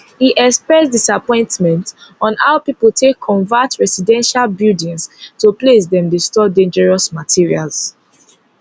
e express disappointment on how pipo take convert residential buildings to place dem dey store dangerous materials